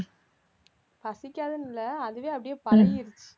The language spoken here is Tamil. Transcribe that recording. பசிக்காதுன்னு இல்ல அதுவே அப்படியே பழகிடுச்சு